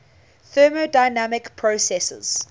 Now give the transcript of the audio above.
thermodynamic processes